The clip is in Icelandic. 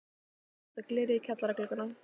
Byrjað að setja glerið í kjallara gluggana.